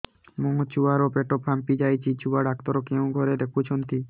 ମୋ ଛୁଆ ର ପେଟ ଫାମ୍ପି ଯାଉଛି ଛୁଆ ଡକ୍ଟର କେଉଁ ଘରେ ଦେଖୁ ଛନ୍ତି